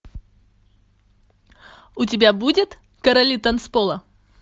у тебя будет короли танцпола